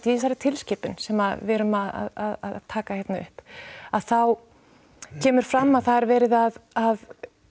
í þessari tilskipun sem við erum að taka hérna upp að þá kemur fram að það er verið að